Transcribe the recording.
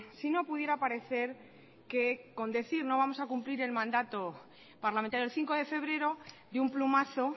si no pudiera parecer que con decir no vamos a cumplir el mandato parlamentario el cinco de febrero de un plumazo